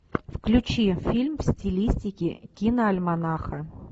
включи фильм в стилистике киноальманаха